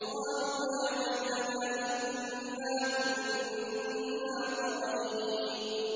قَالُوا يَا وَيْلَنَا إِنَّا كُنَّا طَاغِينَ